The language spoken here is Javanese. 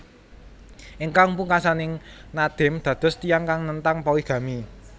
Ingkang pungkasaning Nadim dados tiyang kang nentang poligami